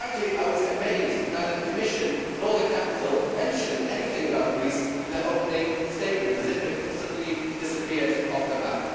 I was amazed that neither the Commission nor the Council mentioned anything about Greece in their opening statements, as if it has suddenly disappeared off the map.